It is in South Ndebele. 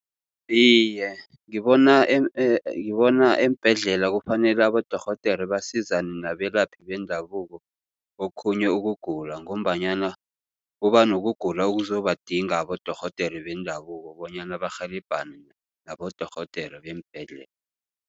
Iye, ngibona ngibona eembhedlela kufanele abodorhodere basizane nabelaphi bendabuko okhunye ukugula. Ngombanyana kuba nokugula okuzobadinga abodorhodere bendabuko bonyana barhelebhane nabodorhodere beembhedlela.